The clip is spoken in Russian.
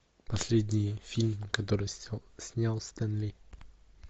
последний фильм который снял стэн ли